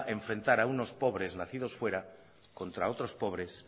a unos pobres nacidos fuera contra otros pobres